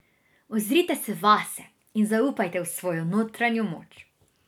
Ozrite se vase in zaupajte v svojo notranjo moč.